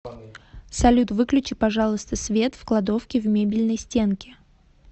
салют выключи пожалуйста свет в кладовке в мебельной стенке